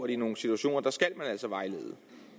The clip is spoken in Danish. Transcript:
i nogle situationer skal man altså vejlede